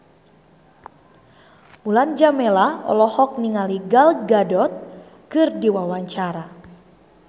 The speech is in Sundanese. Mulan Jameela olohok ningali Gal Gadot keur diwawancara